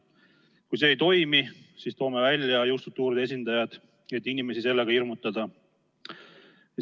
Kui see ei toimi, siis toome välja jõustruktuuride esindajad, et inimesi sellega hirmutada.